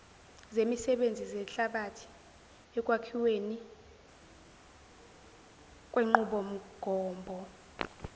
zemisebenzi zehlabathi ekwakhiwenikwenqubomgombo